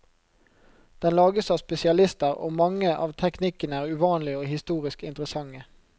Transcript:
Den lages av spesialister, og mange av teknikkene er uvanlige og historisk interessante.